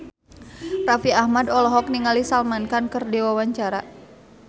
Raffi Ahmad olohok ningali Salman Khan keur diwawancara